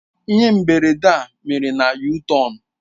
Ihe mberede a mere na yutọonu.